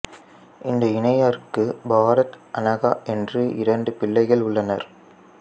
இந்த இணையருக்கு பாரத் அனகா என்ற இரண்டு பிள்ளைகள் உள்ளனர்